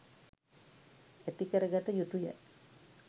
ඇති කරගත යුතුය..